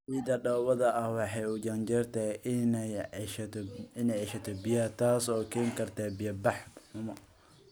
Ciidda dhoobada ahi waxay u janjeertaa inay ceshato biyaha, taasoo keeni karta biya-bax xumo.